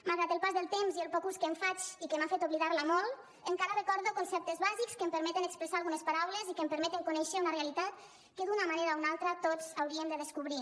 malgrat el pas del temps i el poc ús que en faig i que m’ha fet oblidar la molt encara recordo conceptes bàsics que em permeten expressar algunes paraules i que em permeten conèixer una realitat que d’una manera o una altra tots hauríem de descobrir